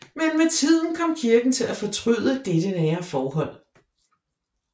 Men med tiden kom Kirken til at fortryde dette nære forhold